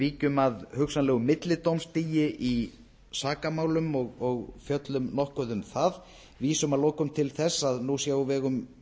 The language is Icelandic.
víkjum að hugsanlega millidómstigi í sakamálum og fjöllum nokkuð um það vísum að lokum til þess að nú sé á vegum